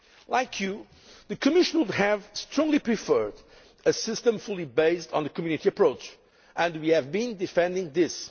Like you, the Commission would have strongly preferred a system fully based on the Community approach, and we have been defending this.